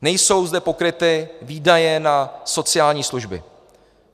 Nejsou zde pokryty výdaje na sociální služby.